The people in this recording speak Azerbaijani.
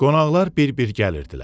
Qonaqlar bir-bir gəlirdilər.